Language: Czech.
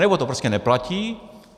Anebo to prostě neplatí.